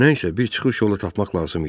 Nə isə bir çıxış yolu tapmaq lazım idi.